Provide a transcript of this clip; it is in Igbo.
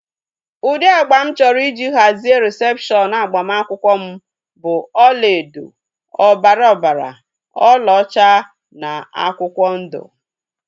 Ụdị agba mụ chọrọ iji hazie rịsepshọnu agbamakwụkwọ m bụ ọlaedo, ọbara ọbara, ọla ọcha na akwụkwọ ndụ